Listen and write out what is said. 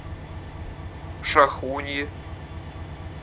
шахуньи